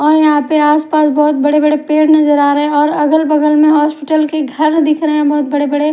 और यहा पे आस पास बोहोत बड़े बड़े पेड़ नज़र आरे और अगल बगल में हॉस्पिटल के घर दिख रहे बोहोत बड़े बड़े--